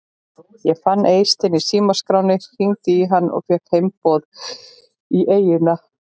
Ég fann Eystein í símaskránni, hringdi í hann og fékk heimboð í eyjuna.